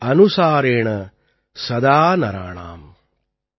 பாவ அனுசாரேண சதா நராணாம்